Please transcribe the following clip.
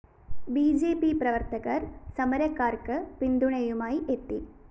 B J P പ്രവര്‍ത്തകര്‍ സമരക്കാര്‍ക്ക് പിന്തുണയുമായി എത്തി